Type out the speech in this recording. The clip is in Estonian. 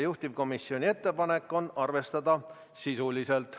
Juhtivkomisjoni ettepanek on arvestada seda sisuliselt.